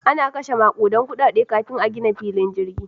Ana kashe makudan kudade kafin a gina filin jirgi.